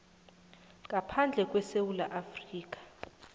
ngaphandle kwesewula afrika